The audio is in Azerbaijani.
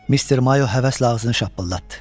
Mister Mayo həvəslə ağzını şappıldatdı.